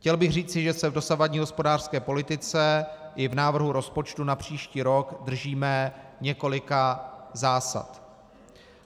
Chtěl bych říci, že se v dosavadní hospodářské politice i v návrhu rozpočtu na příští rok držíme několika zásad.